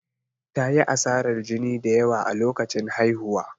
Ta yi asarar jini da yawa a lokacin haihuwa.